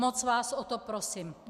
Moc vás o to prosím.